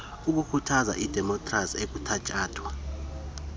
ikhuthaza idemopkhrasi ekuthatyathwa